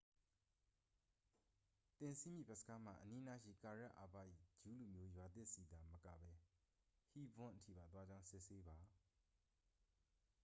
သင်စီးမည့် ဘက်စ်ကားမှာ အနီးနားရှိ ကာရက် အာဘ ၏ ဂျူးလူမျိုးရွာသစ်ဆီသာ မကဘဲ ဟီးဘွန်း အထိပါ သွားကြောင်း စစ်ဆေးပါ